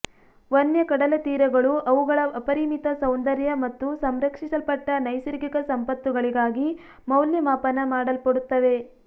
ವನ್ಯ ಕಡಲತೀರಗಳು ಅವುಗಳ ಅಪರಿಮಿತ ಸೌಂದರ್ಯ ಮತ್ತು ಸಂರಕ್ಷಿಸಲ್ಪಟ್ಟ ನೈಸರ್ಗಿಕ ಸಂಪತ್ತುಗಳಿಗಾಗಿ ಮೌಲ್ಯಮಾಪನ ಮಾಡಲ್ಪಡುತ್ತವೆ